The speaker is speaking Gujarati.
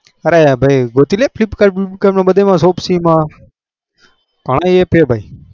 અરે ભાઈ ગોતી લે flipkart માં બધે હે ભાઈ